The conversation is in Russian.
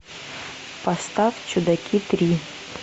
поставь чудаки три